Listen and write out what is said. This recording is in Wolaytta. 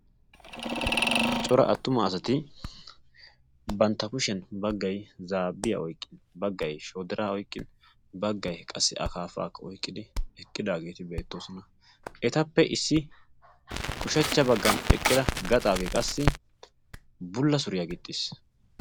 cora attuma asati bantta kushiyan baggai zaabbiyaa oiqqin baggai shodira oiqqin baggai qassi a kaafaa oiqqidi eqqidaageeti beettoosona. etappe issi ushachcha baggan eqqida gaxaagee qassi bulla suriyaa gixxiis.